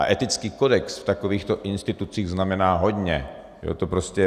A etický kodex v takovýchto institucích znamená hodně.